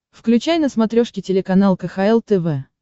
включай на смотрешке телеканал кхл тв